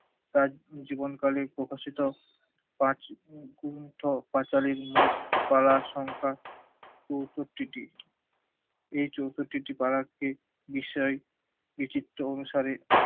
তার জীবন কালে প্রকাশিত পাঁচ পাঁচালীর মোট ধারা সংখ্যা এই যৌতটিটি তারা এই বিষয় বিচিত্র অনুসারে